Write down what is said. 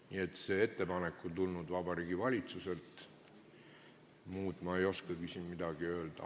Nii et see ettepanek on tulnud Vabariigi Valitsuselt, midagi muud ma ei oskagi öelda.